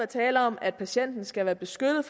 tale om at patienten skal være beskyttet